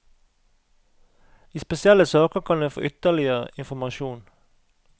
I spesielle saker kan en få ytterligere informasjon.